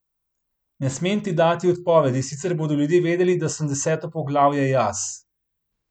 Ne smem ti dati odpovedi, sicer bodo ljudje vedeli, da sem deseto poglavje jaz.